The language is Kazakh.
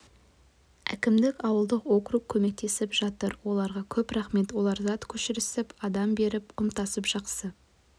әкімдік ауылдық округ көмектесіп жатыр оларға көп рахмет олар зат көшірісіп адам беріп құм тасып жақсы